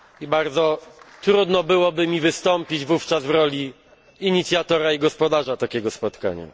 Bardzo trudno byłoby mi wystąpić wówczas w roli inicjatora i gospodarza takiego spotkania.